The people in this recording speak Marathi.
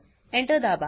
Enter दाबा